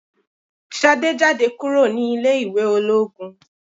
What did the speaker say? Ṣadé jáde kúrò ní ilé ìwé ológun.